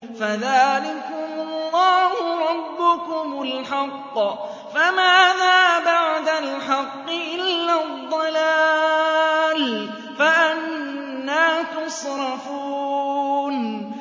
فَذَٰلِكُمُ اللَّهُ رَبُّكُمُ الْحَقُّ ۖ فَمَاذَا بَعْدَ الْحَقِّ إِلَّا الضَّلَالُ ۖ فَأَنَّىٰ تُصْرَفُونَ